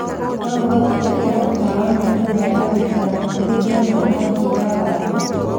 no ũhote gwikira matawa maa nyũmba ya gũikara matwikema rangi wa waru.